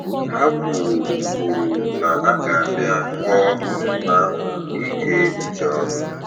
Ha kwuru kwuru na ha ga- bịa kọ mmemme ahụ ike uche ọnụ